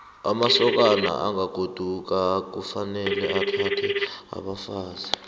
amasokana angagoduka kufanele athathe abafazi